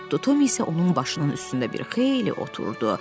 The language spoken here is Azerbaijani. Tom isə onun başının üstündə bir xeyli oturdu.